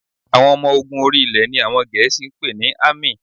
Àwọn ọmọ ogun orí-ilẹ̀ ni àwọn Gẹ̀ẹ́sì ń pè ní Army